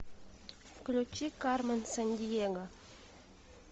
включи кармен сандиего